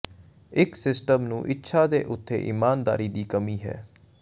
ਇੱਕ ਸਿਸਟਮ ਨੂੰ ਇੱਛਾ ਦੇ ਉਥੇ ਇਮਾਨਦਾਰੀ ਦੀ ਕਮੀ ਹੈ